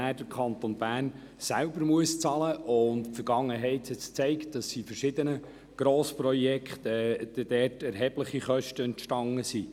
Die Vergangenheit hat gezeigt, dass bei verschiedenen Grossprojekten erhebliche Kosten entstanden sind.